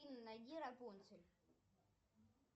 найди рапунцель